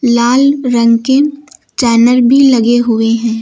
लाल रंग के चैनल भी लगे हुए हैं।